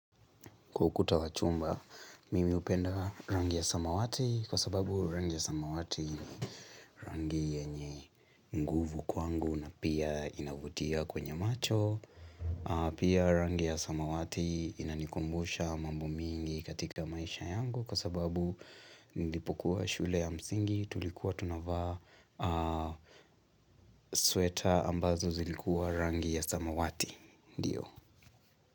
Kwa ukuta wa chumba, mimi hupenda rangi ya samawati kwa sababu rangi ya samawati ni rangi yenye nguvu kwangu na pia inavutia kwenye macho. Pia rangi ya samawati inanikumbusha mambo mingi katika maisha yangu kwa sababu nilipokuwa shule ya msingi tulikuwa tunavaa sweta ambazo zilikuwa rangi ya samawati.